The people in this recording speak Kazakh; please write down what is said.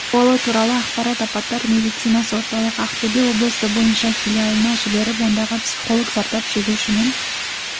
сауалы туралы ақпарат апаттар медицинасы орталығы ақтөбе облысы бойынша филиалына жіберіліп ондағы психолог зардап шегушімен